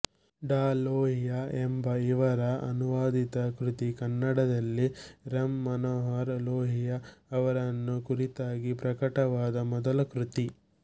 ಡಾ ಲೋಹಿಯಾ ಎಂಬ ಇವರ ಅನುವಾದಿತ ಕೃತಿ ಕನ್ನಡದಲ್ಲಿ ರಾಂ ಮನೋಹರ್ ಲೋಹಿಯಾ ಅವರನ್ನು ಕುರಿತಾಗಿ ಪ್ರಕಟವಾದ ಮೊದಲ ಕೃತಿ